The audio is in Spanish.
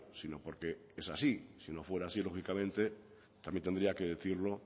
sino porque es así si no fuera así lógicamente también tendría que decirlo